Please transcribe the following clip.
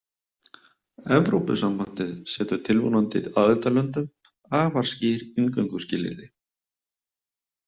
Evrópusambandið setur tilvonandi aðildarlöndum afar skýr inngönguskilyrði.